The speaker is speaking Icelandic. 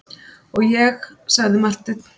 Og ég, sagði Marteinn.